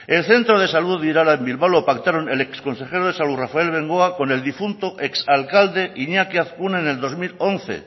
el centro de salud de irala en bilbao lo pactaron el ex consejero de salud rafael bengoa con el difunto ex alcalde iñaki azkuna en el dos mil once